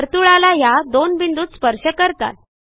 वर्तुळाला ह्या दोन बिंदूत स्पर्श करतात